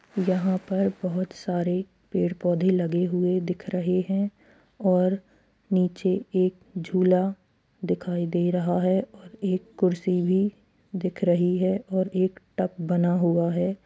यहाँ पर बहुत सारे पेड़ पौधे लगे हुए दिखाई रहे हैं और नीचे एक झूला दिखाई दे रहा है और एक कुर्सी भी दिख रही है और एक टक बना हुआ है।